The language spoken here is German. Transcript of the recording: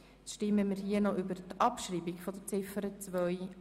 Nun stimmen wir hier noch über die Abschreibung von Ziffer 2 ab.